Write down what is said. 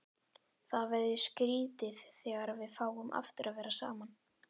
Það verður skrýtið þegar við fáum aftur að vera saman.